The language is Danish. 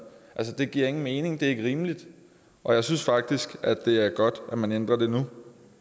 det giver ingen mening det er ikke rimeligt og jeg synes faktisk at det er godt at man ændrer det nu